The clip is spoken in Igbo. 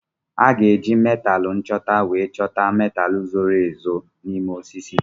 A ga-eji metaalu nchọta wee chọta metaalu zoro ezo n'ime osisi.